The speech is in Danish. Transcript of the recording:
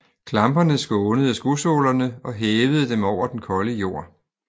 Klamperne skånede skosålerne og hævede dem over den kolde jord